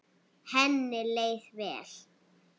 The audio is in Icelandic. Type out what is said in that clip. Henni leið vel.